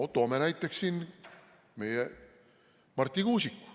Toome näiteks siin meie Marti Kuusiku.